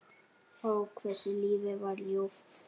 Ó, hversu lífið var ljúft.